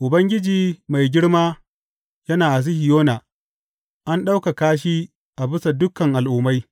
Ubangiji mai girma yana a Sihiyona; an ɗaukaka shi a bisa dukan al’ummai.